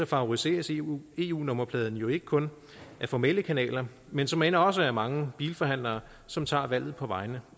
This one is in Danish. favoriseres eu eu nummerpladen jo ikke kun ad formelle kanaler men såmænd også af mange bilforhandlere som tager valget på vegne